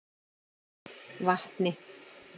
Vatni